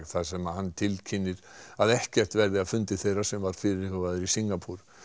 þar sem hann tilkynnti að ekkert verði af fundi þeirra sem var fyrirhugaður í Singapúr